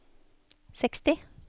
seksti